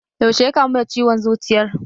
Yaushe ya kamu da ciwon zuciyar?